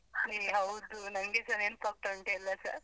ಹ್ಮ್ ಹೌದು, ನಂಗೆಸ ನೆನಪಾಗ್ತಾ ಉಂಟು ಎಲ್ಲಾಸ.